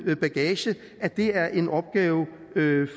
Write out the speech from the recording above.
bagage at det er en opgave